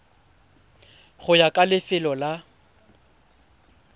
go ya ka lefelo la